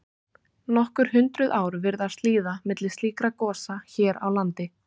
Nokkur hundruð ár virðast líða milli slíkra gosa hér á landi.